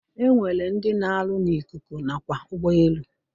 E nwere ndị na-arụ n'ikuku nakwa ụgbọelu